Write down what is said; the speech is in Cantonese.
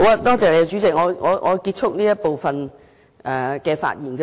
多謝主席，我會結束這部分的發言。